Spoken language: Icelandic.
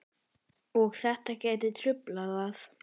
Og þetta gæti truflað það?